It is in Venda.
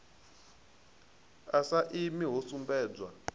a sa imi ho sumbedzwa